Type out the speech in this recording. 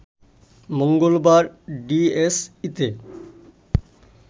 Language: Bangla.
মঙ্গলবার ডিএসইতে